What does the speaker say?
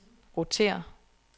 rotér